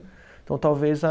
Então, talvez a